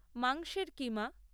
মাংসের কিমা